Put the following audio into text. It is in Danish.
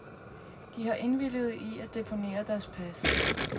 De har indvilliget i at deponere deres pas.